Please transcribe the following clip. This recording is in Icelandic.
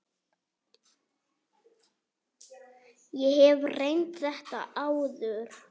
Ég hef reynt þetta áður.